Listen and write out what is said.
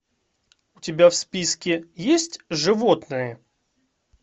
у тебя в списке есть животные